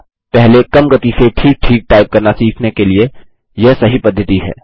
पहले कम गति से ठीक ठीक टाइप करना सीखने के लिए यह सही पद्धति है